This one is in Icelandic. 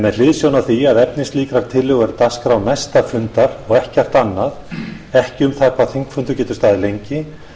með hliðsjón af því að efni slíkrar tillögu er dagskrá næsta fundar og ekkert annað ekki um það hvað þingfundur getur staðið lengi